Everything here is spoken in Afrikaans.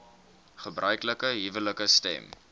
gebruiklike huwelike stem